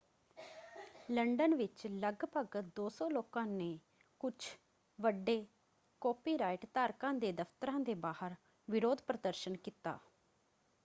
London ਵਿੱਚ ਲਗਭਗ 200 ਲੋਕਾਂ ਨੇ ਕੁਝ ਵੱਡੇ ਕਾਪੀਰਾਈਟ ਧਾਰਕਾਂ ਦੇ ਦਫਤਰਾਂ ਦੇ ਬਾਹਰ ਵਿਰੋਧ ਪ੍ਰਦਰਸ਼ਨ ਕੀਤਾ।